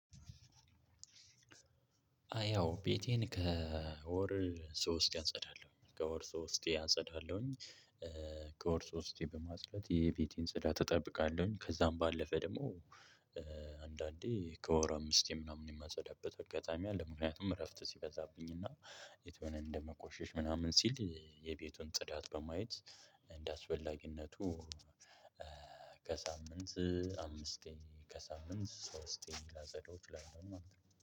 ያው ቤቴን ከወር ሶስቴ አጸዳለሁ ከወር ሶስቴ አፀዳለሁኝ ከወር ሶስቴ በማፅዳት የቤቴን ጽዳት እጠብቃለሁኝ ከዛም ባለፈ ደግሞ አንዳንዴ ከወር አምስቴ ምናምን የማጸዳበት አጋጣሚ አለ። ምክንያቱም እረፍት ሲበዛብኝ እና ቤት ሆነን እንደሞቆሸሽ ምናምን ሲል የቤቱን ጽዳት በማየት እንደአስፈላጊነቱ ከሳምንት አምስቴ ከሳምንት ሶስቴ ላፀዳው እችላለሁኝ ማለት ነው